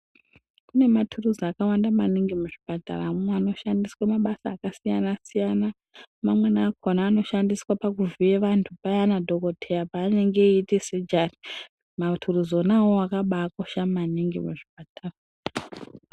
Kune maturuzi akawanda maningi muzvipataramwo anoshandiswa mabasa akasiyana siyana mamweni akona anoshandiswa pakuvhiye vantu payana dhokodheya paanenge eita sejari maturuzi wona awawo akabakosha maningi muzvipatara.